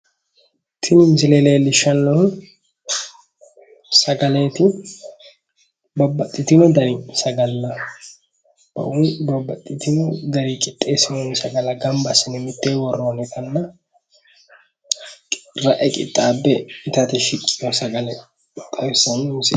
Tini misile leellishshannohu sagaleeti. Babbaxxitino dani sagalla woyi babbaxxitino garii qixxeessinoonni sagalla gamba assine mittee worroonnitanna ra'e qixxaabbe itate shiqqeyo sagale xawissanno misileeti.